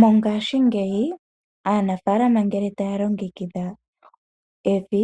Mongashingeyi aanafalama ngele taya longekidha evi